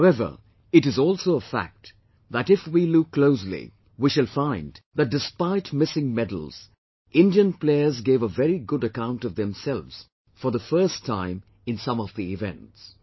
However, it is also a fact that if we look closely, we shall find that despite missing medals, Indian players gave a very good account of themselves for the first time in some of the events